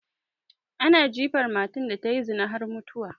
Ana jifan matar da tayi zina har mutuwa